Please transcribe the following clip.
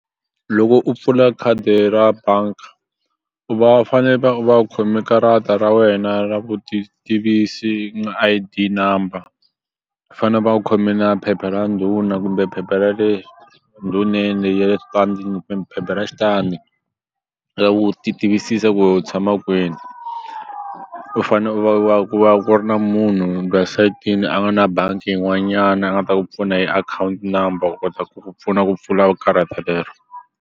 Loko u pfula khadi ra bank-a u va fane va u va u khome karata ra wena ra vutitivisi na I_D number fane u va u khome na phepha ra ndhuna kumbe phepha ra le ndhuneni ya le kumbe phepha ra xitandi u ti tivisisa ku we u tshama kwini u fane u va u va ku ri na munhu sayitini a va na bangi yin'wanyana a nga ta ku pfuna hi akhawunti number u kota ku ku pfuna ku pfula karata lero.